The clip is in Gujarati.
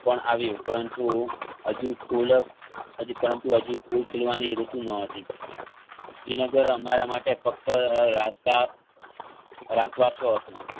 પણ આવ્યું પરંતુ હજુ ફૂલો હજુ પરંતુ હજુ ફૂલ ખીલવાની ઋતુ ન હતી શ્રીનગર અમારા માટે ફક્ત અ~અ રસ્તા રાત વાસુ હતું.